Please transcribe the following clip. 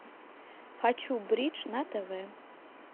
хочу бридж на тв